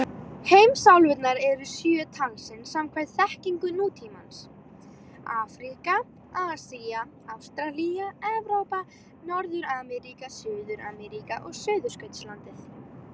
Heimsálfurnar eru sjö talsins samkvæmt þekkingu nútímans: Afríka, Asía, Ástralía, Evrópa, Norður-Ameríka, Suður-Ameríka og Suðurskautslandið.